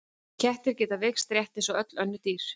Kettir geta veikst rétt eins og öll önnur dýr.